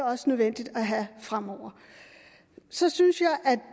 også nødvendigt at have fremover så synes